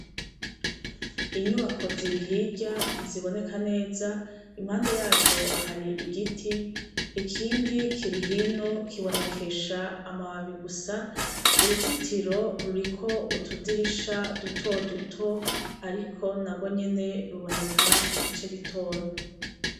Inyubako ziri hirya ntiziboneka neza impande yazo hari igiti ikindi kilihino kibonekesha amababi gusa uruzitiro ruriko utudirisha duto duto, ariko na gwo nyene ruboneka igice gitonya.